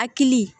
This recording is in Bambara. Hakili